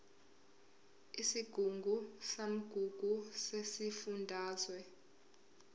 isigungu samagugu sesifundazwe